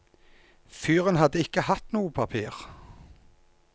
Fyren hadde ikke hatt noe papir.